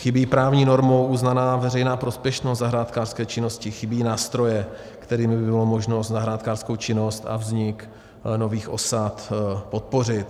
Chybí právní normou uznaná veřejná prospěšnost zahrádkářské činnosti, chybí nástroje, kterými by bylo možno zahrádkářskou činnost a vznik nových osad podpořit.